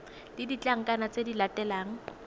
le ditlankana tse di latelang